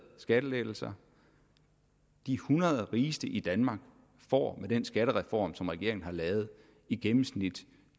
skattelettelser de hundrede rigeste i danmark får med den skattereform som regeringen har lavet i gennemsnit